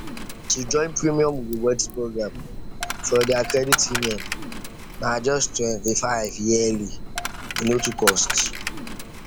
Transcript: to join premium rewards program for their credit union na just twenty five yearly e no too cost